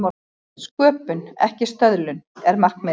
Sköpun, ekki stöðlun, er markmiðið.